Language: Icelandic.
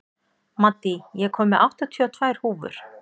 Maddý, ég kom með áttatíu og tvær húfur!